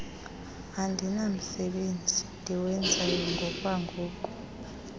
andinamsebenzi ndiwenzayo ngokwangoku